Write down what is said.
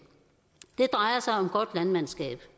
det drejer sig om godt landmandskab